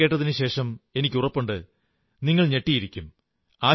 ഈ ഫോൺ കേട്ടതിനുശേഷം എനിക്കുറപ്പുണ്ട് നിങ്ങൾ ഞെട്ടിയിരിക്കും